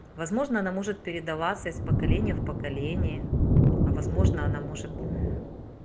возможно она может передаваться из поколения в поколение а возможно она может